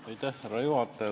Lugupeetud härra juhataja!